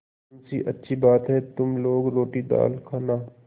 मुंशीअच्छी बात है तुम लोग रोटीदाल खाना